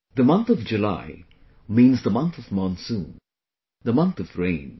The month of July means the month of monsoon, the month of rain